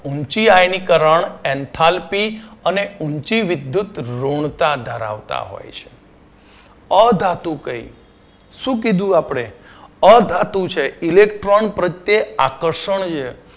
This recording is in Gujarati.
ઉંચી આયનીકરણ એન્થાલપી અને ઉંચી વિધૃતઋણતા ધરાવતા હોય છે. અધાતુ કઈ શું કીધું આપણે અધાતુ છે electron પ્રત્યે આકર્ષણ છે